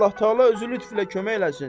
Allah təala özü lütflə kömək eləsin.